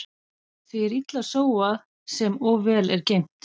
Því er illa sóað sem of vel er geymt.